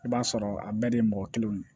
I b'a sɔrɔ a bɛɛ de ye mɔgɔ kelen ye